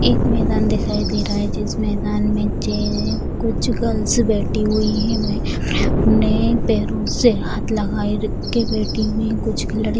एक मैदान दिखाई दे रहा है जिस मैदान में जे कुछ गर्ल्स बैठी हुई है वह अपने-अपने पैरों से हाथ लगाए के बैठी हुई है कुछ लड़ --